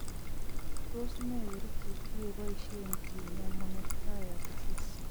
Tos ne kerichek chekeboisien kinyaa menetrier disease